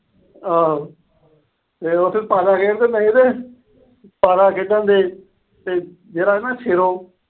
ਆਹ ਜਦੋਂ ਉਥੇ ਪਾਸਾ ਖੇਡਦੇ ਹੁੰਦੇ ਸੀਗੇ। ਪਾਸਾ ਖੇਡਣ ਡਏ ਤੇ ਜਿਹੜਾ ਹੈ ਨਾ ਅਹ ਸੇਰੋਂ